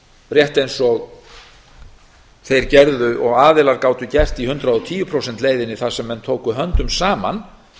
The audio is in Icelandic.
rétt eins og þeir gerðu og aðilar gátu gert í hundrað og tíu prósenta leiðinni þar sem menn tóku höndum saman